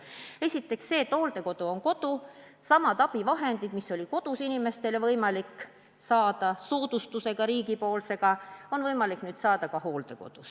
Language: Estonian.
Esiteks põhimõte, et hooldekodu on kodu ja samad abivahendid, mis oli inimestel kodus võimalik hankida riigipoolse soodustusega, on võimalik nüüd niimoodi saada ka hooldekodus.